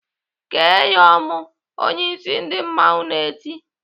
"Kee ya ọmụ!" Onyeisi ndị mmanwụ na-eti.